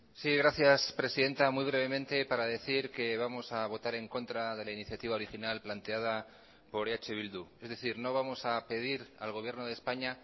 sí gracias presidenta muy brevemente para decir que vamos a votar en contra de la iniciativa original planteada por eh bildu es decir no vamos a pedir al gobierno de españa